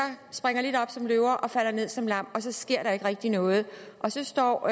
springer lidt op som løver og falder ned som lam og så sker der ikke rigtig noget og så står